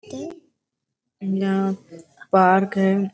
ते अहं पार्क है|